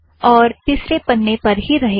यह तिसरे पन्ने पर ही रहेगा